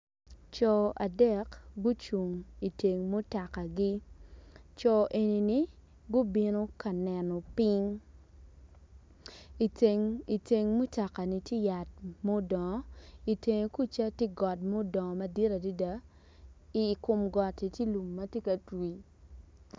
Co adek gucung iteng mutokagi co enini gubino ka neno piny iteng mutokani tye yat mudongo itenge kuca tye got mudongo madit adada i kmo gotti tye lum ma tye ka twi.